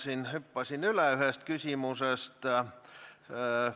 Jah, hüppasin ühest küsimusest üle.